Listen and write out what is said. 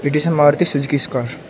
It is a Maruti Suzuki's car.